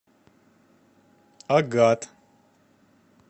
агат